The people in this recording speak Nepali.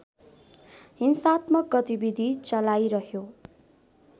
हिंसात्मक गतिविधि चलाइरह्यो